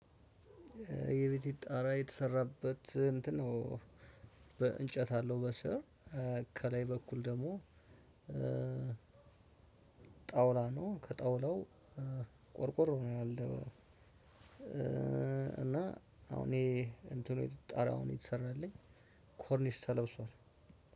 የቤቴ ጣራ የተሰራበት እንትን ነው በእንጨት አለው በስር ከላይ በኩል ደግሞ ጣውላ ነው ከጣውላው ቆርቆሮ ነው ያለው እና አሁን እኔ እንትኑ ጣሪያ አሁን የተሰራልኝ ኮርኒስ ተለብሷል።